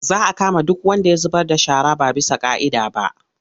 Za a kama duk wanda ya zubar da shara ba bisa ƙa'ida ba.